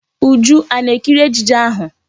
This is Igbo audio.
Uju a na-ekiri ejije ahụ?